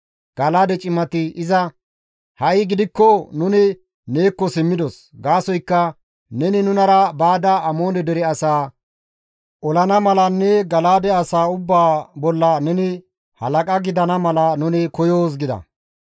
Gala7aade cimati iza, «Ha7i gidikko nuni neekko simmidos; gaasoykka neni nunara baada Amoone dere asaa olana malanne Gala7aade asaa ubbaa bolla neni halaqa gidana mala nuni koyoos» gida.